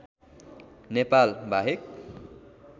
नेपाल बाहेक